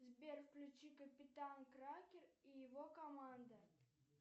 сбер включи капитан кракен и его команда